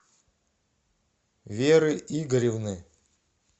веры игоревны